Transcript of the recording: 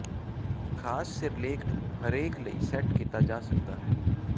ਖਾਸ ਸਿਰਲੇਖ ਨੂੰ ਹਰੇਕ ਲਈ ਸੈੱਟ ਕੀਤਾ ਜਾ ਸਕਦਾ ਹੈ